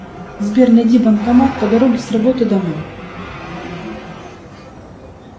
сбер найди банкомат по дороге с работы домой